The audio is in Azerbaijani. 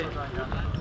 Əli